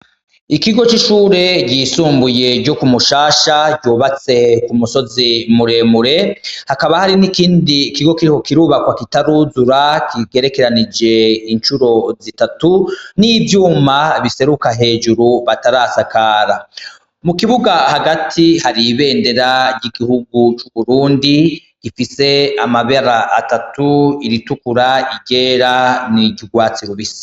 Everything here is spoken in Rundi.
Ikigo cishure ryisumbuye ryo kumushasha ryubatse kumusozi muremure hakaba hari nikindi kigo kiriko kirubakwa kitaruzura kigerekeranije incuro zitatu nivyuma biseruka hejuru batarasakara mukibuga hagati hari ibendera ryigihugu cuburundi rifise amabara atatu iritukura iryera niryurwatsi rubisi